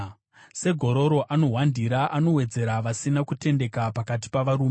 Segororo anohwandira, anowedzera vasina kutendeka pakati pavarume.